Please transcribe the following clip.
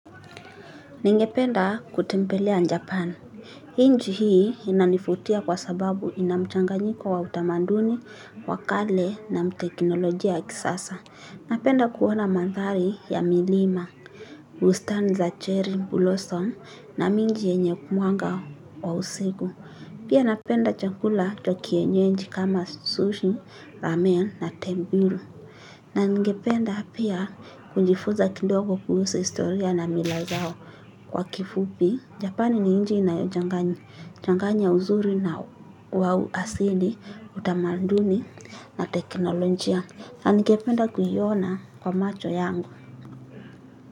Ningependa kutembelea japan. Nchi hii inanifutia kwa sababu inamchanganyiko wa utamanduni, wa kale na teknolojia kisasa. Napenda kuona manthali ya milima. Bustani za cherry, blossom na mengi yenye mwanga wa usiku. Pia napenda chakula cha kienyeji kama sushi, ramen na temburu. Na ningependa pia kujifuza kidogo kuhusu historia na mila zao. Kwa kifupi Japan ni inchi nayochanganya uzuri wa asili, utamanduni na teknolojia. Ningependa kuiona kwa macho yangu.